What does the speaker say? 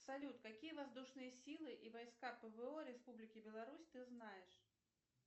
салют какие воздушные силы и войска пво республики беларусь ты знаешь